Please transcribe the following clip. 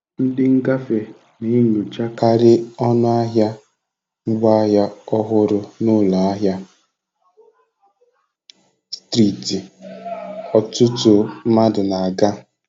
Ndị ngafe na-enyochakarị ọnụ ahịa ngwaahịa ọhụrụ n'ụlọ ahịa striiti ọtụtụ mmadụ na-aga.